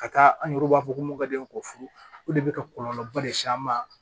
Ka taa an yɛrɛ b'a fɔ ko mɔdɛli ko furu o de bɛ ka kɔlɔlɔba le s'an ma